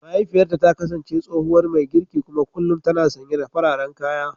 Mahaifiyarta ta kasance tsohuwar mai girki kuma kullum tana sanye da fararen kaya.